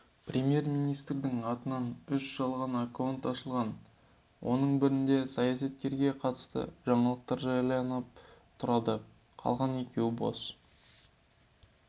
премьер-министрдің атынан үш жалған аккаунт ашылған оның бірінде саясаткерге қатысты жаңалықтар жарияланып тұрады қалған екеуі бос